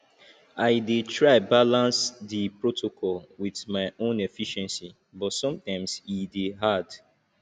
i dey try balance di protocol with my own efficiency but sometimes e dey hard